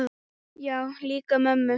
Já, líka mömmu